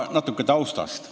Natuke taustast.